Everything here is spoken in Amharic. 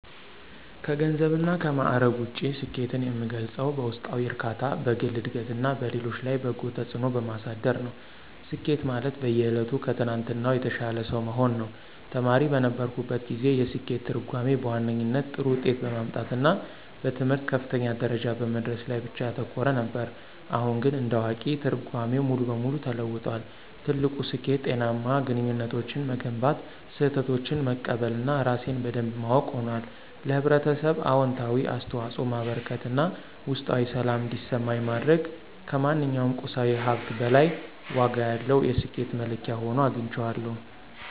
ከገንዘብና ከማዕረግ ውጪ፣ ስኬትን የምገልጸው በውስጣዊ እርካታ፣ በግል ዕድገትና በሌሎች ላይ በጎ ተጽዕኖ በማሳደር ነው። ስኬት ማለት በየዕለቱ ከትናንትናው የተሻለ ሰው መሆን ነው። ተማሪ በነበርኩበት ጊዜ፣ የስኬት ትርጉሜ በዋነኛነት ጥሩ ውጤት በማምጣትና በትምህርት ከፍተኛ ደረጃ በመድረስ ላይ ብቻ ያተኮረ ነበር። አሁን ግን እንደ አዋቂ፣ ትርጓሜው ሙሉ በሙሉ ተለውጧል። ትልቁ ስኬት ጤናማ ግንኙነቶችን መገንባት፣ ስህተቶችን መቀበል እና ራሴን በደንብ ማወቅ ሆኗል። ለኅብረተሰብ አዎንታዊ አስተዋጽኦ ማበርከት እና ውስጣዊ ሰላም እንዲሰማኝ ማድረግ ከማንኛውም ቁሳዊ ሀብት በላይ ዋጋ ያለው የስኬት መለኪያ ሆኖ አግኝቼዋለሁ።